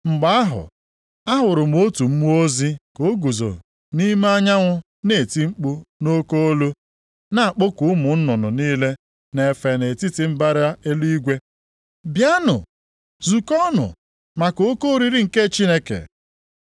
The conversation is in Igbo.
Mgbe ahụ, ahụrụ m otu mmụọ ozi ka o guzo nʼime anyanwụ na-eti mkpu nʼoke olu, na-akpọku ụmụ nnụnụ niile na-efe nʼetiti mbara eluigwe, “Bịanụ! Zukọọnụ maka oke oriri nke Chineke.